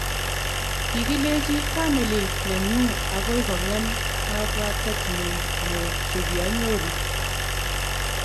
"Kigilechi famili nenyu agoi kong'em kabwatetnyu mook che kianyoru"